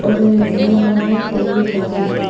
ஒரு நீளமான டேபிள் மாதிரி இருக்கு.